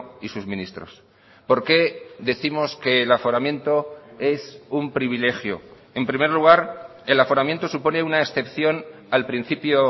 y sus ministros por qué décimos que el aforamiento es un privilegio en primer lugar el aforamiento supone una excepción al principio